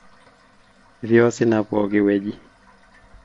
ketii osina pokin wei